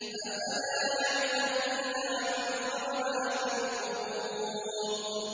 ۞ أَفَلَا يَعْلَمُ إِذَا بُعْثِرَ مَا فِي الْقُبُورِ